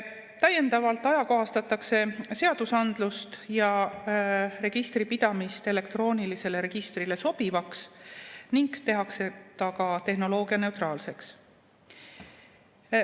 Täiendavalt ajakohastatakse seadusandlust ja registripidamist elektroonilisele registrile sobivaks ning tehakse see ka tehnoloogianeutraalseks.